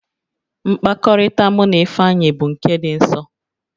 Mkpakọrịta mụ na Ifeanyị bụ nke dị nsọ